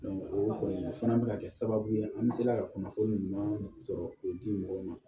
o kɔni o fana bɛka kɛ sababu ye an sera ka kunnafoni ɲuman sɔrɔ k'o di mɔgɔw ma